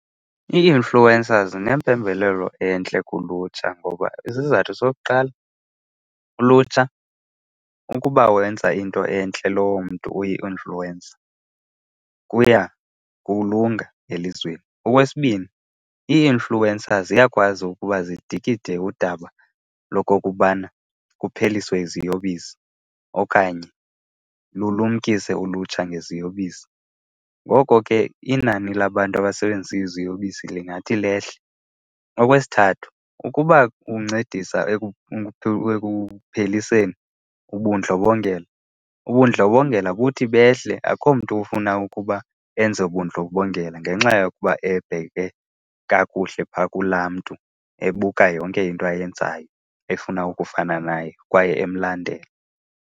Ii-influencers zinempembelelo entle kulutsha ngoba isizathu sokuqala, ulutsha ukuba wenza into entle lowo mntu uyi-influencer kuya kulunga elizweni. Okwesibini, ii-influncer ziyakwazi ukuba zidikide udaba lokokubana kupheliswe iziyobisi okanye lulumkise ulutsha ngeziyobisi. Ngoko ke inani labantu abasebenzisa iziyobisi lingathi lehle. Okwesithathu, ukuba kuncedisa ekupheliseni ubundlobongela, ubundlobongela buthi behle. Akho mntu ufuna ukuba enze ubundlobongela ngenxa yokuba ebheke kakuhle phaa kulaa mntu, ebuka yonke into ayenzayo, efuna ukufana naye kwaye emlandela.